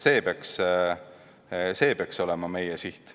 See peaks olema meie siht.